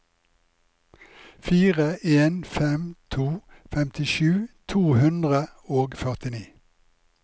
fire en fem to femtisju to hundre og førtini